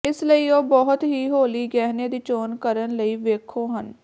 ਇਸ ਲਈ ਉਹ ਬਹੁਤ ਹੀ ਹੌਲੀ ਗਹਿਣੇ ਦੀ ਚੋਣ ਕਰਨ ਲਈ ਵੇਖੋ ਹਨ